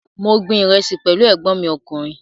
Mo gbin ìrẹsì pẹ̀lú ẹ̀gbọ́n mi ọkùnrin